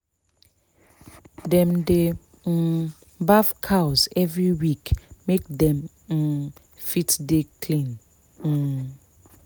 dem dey um baff cows every week make dem um fit dey clean um